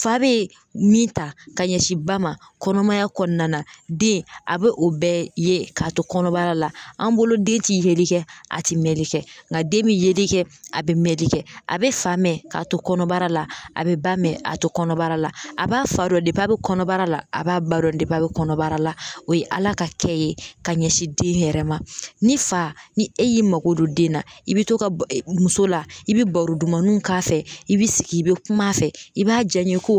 Fa be min ta ka ɲɛsin ba ma kɔnɔmaya kɔnɔna den a be o bɛɛ ye k'a to kɔnɔbara la an bolo den ti yeli kɛ a ti mɛnli kɛ nga den be yeli kɛ a be fa mɛn de k'a to kɔnɔbara la a be ba mɛn k'a to kɔnɔbara la a b'a fa dɔn dep'a be kɔnɔbara la a b'a ba dɔn dep'a be kɔnɔbara la o ye ala ka kɛ ye ka ɲɛsin den yɛrɛ ma ni fa ni e y'i mako don den na i be to ka ba muso la i be baro dumanunw k'a fɛ i b'i sigi i be kuma a fɛ i b'a jaɲɛkow